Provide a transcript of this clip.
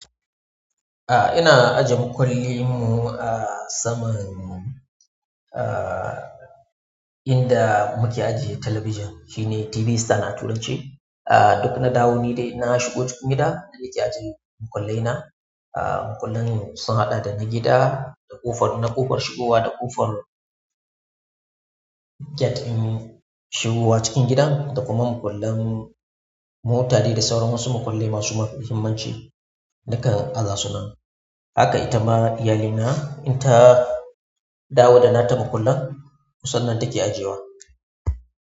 A'a ina ajiye makulli mu a saman aaaa inda muke ajiye talabijan shine TV stand a turanci. A duk na dawo ni dai na shigo gida na yi ajiye makullai na. Aaaa makullan mu sun haɗa da na gida, na ƙofar shigowa da ƙofar gate in shigowa cikin gida, da kuma makullan mu tare da sauran wasu makullai masu muhimmanci nakan azasu nan. Haka ita ma iyalina in ta dawo da nata makullan kusan nan ta ke ajiyewa.